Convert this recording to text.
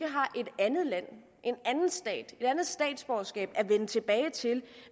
andet land en anden stat et andet statsborgerskab at vende tilbage til